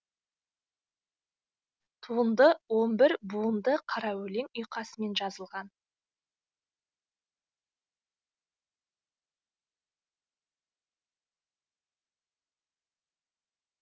туынды он бір буынды қара өлең ұйқасымен жазылған